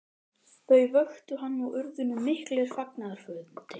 Þau vöktu hann og urðu nú miklir fagnaðarfundir.